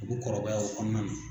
U bu kɔrɔbaya o kɔnɔna na.